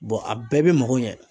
Bɔn a bɛɛ be mago ɲɛ